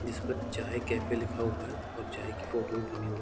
जिस पर चाय कैफे लिखा हुआ है और चाय की फोटो भी बनी हुई --